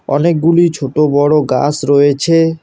অনেকগুলি ছোট বড় গাস রয়েছে।